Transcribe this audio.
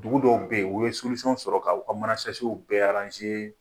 Dugu dɔw bɛ yen, u ye sɔrɔ k'u ka mana bɛɛ